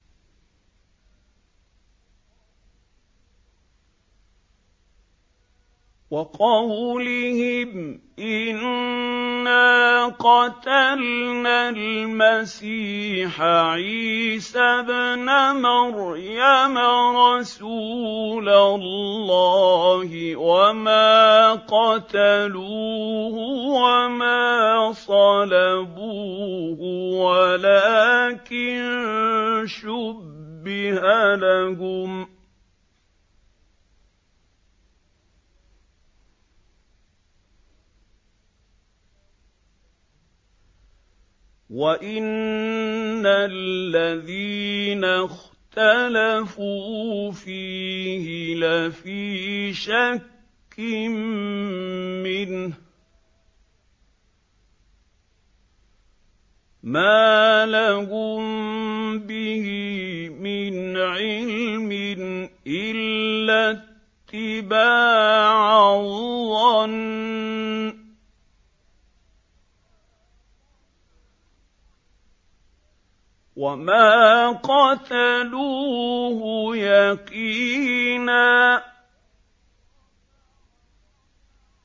وَقَوْلِهِمْ إِنَّا قَتَلْنَا الْمَسِيحَ عِيسَى ابْنَ مَرْيَمَ رَسُولَ اللَّهِ وَمَا قَتَلُوهُ وَمَا صَلَبُوهُ وَلَٰكِن شُبِّهَ لَهُمْ ۚ وَإِنَّ الَّذِينَ اخْتَلَفُوا فِيهِ لَفِي شَكٍّ مِّنْهُ ۚ مَا لَهُم بِهِ مِنْ عِلْمٍ إِلَّا اتِّبَاعَ الظَّنِّ ۚ وَمَا قَتَلُوهُ يَقِينًا